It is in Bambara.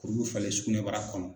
Kuru bɛ falen sugunɛbara kɔnɔ.